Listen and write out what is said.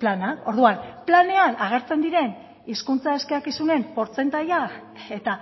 plana orduan planean agertzen diren hizkuntza eskakizunen portzentaia eta